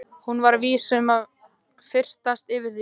Hún var vís til þess að fyrtast yfir því.